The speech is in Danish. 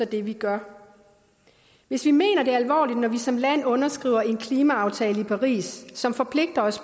det vi gør hvis vi mener det alvorligt når vi som land underskriver en klimaaftale i paris som forpligter os